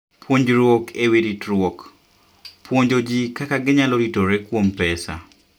Puonjruok e Wi Ritruok: Puonjo ji kaka ginyalo ritore kuom pesa.